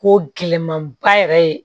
Ko gɛlɛman ba yɛrɛ ye